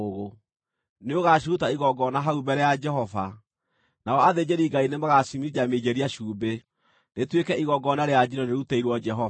Nĩũgaciruta igongona hau mbere ya Jehova, nao athĩnjĩri-Ngai nĩmagaciminjaminjĩria cumbĩ, rĩtuĩke igongona rĩa njino rĩrutĩirwo Jehova.